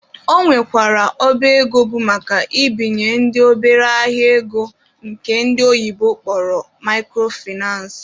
Ọ nwekwara ọba ego bụ maka ibinyendị obere ahịa ego nke ndi oyibo kpọrọ microfinace